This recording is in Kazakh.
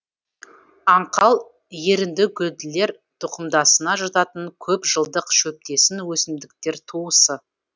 аңқал еріндігүлділер тұқымдасына жататын көп жылдық шөптесін өсімдіктер туысы